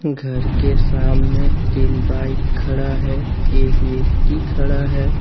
घर के सामने तीन बाइक खड़ा है एक व्यक्ति खड़ा है।